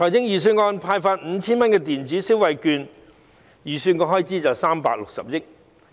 預算案提出派發 5,000 元的電子消費券，預算開支為360億元。